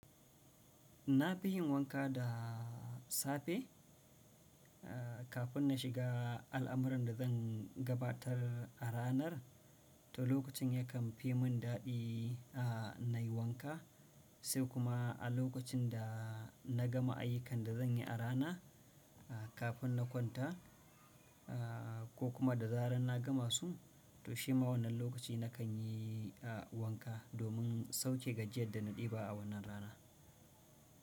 Na fi yin wanka da safe. Kafin na shiga al'amuran da zan gabatar a ranar, to lokacin yakan fi mun daɗi a nayi wanka, sai kuma a lokacin da na gama ayyukan da zan yi a rana, kafin na kwanta, ko kuma da zaran na gama su, to shi ma wannan lokaci na kan yi wanka domin sauke gajiyar da na ɗeba a wannan rana.